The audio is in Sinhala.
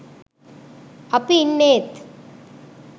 අපි ඉන්නේත්